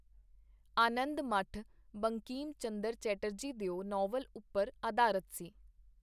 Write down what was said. ਆਨੰਦ ਮਠ ਬੰਕੀਮ ਚੰਦਰ ਚੈਟਰਜੀ ਦਿਓ ਨਾਵਲ ਉਪਰ ਆਧਾਰਤ ਸੀ.